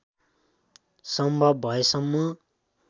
सम्भव भएसम्म